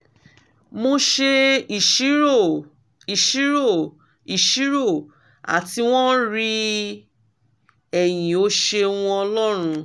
mo ṣe iṣiro iṣiro iṣiro ati wọn rii ẹyin o ṣeun ọlọrun